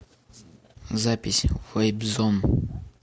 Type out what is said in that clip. запись вэйп зон